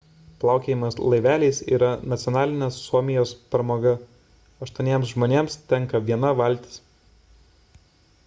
plaukiojimas laiveliais yra nacionalinė suomijos pramoga – aštuoniems žmonėms tenka viena valtis